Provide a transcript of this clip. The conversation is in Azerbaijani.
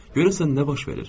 Görəsən nə baş verir?